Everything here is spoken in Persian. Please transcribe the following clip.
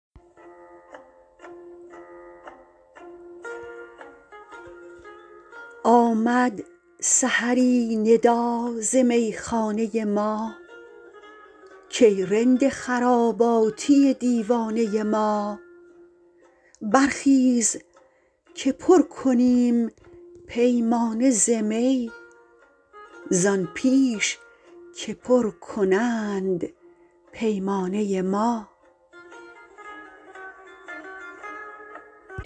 آمد سحری ندا ز میخانه ما کای رند خراباتی دیوانه ما برخیز که پر کنیم پیمانه ز می زآن پیش که پر کنند پیمانه ما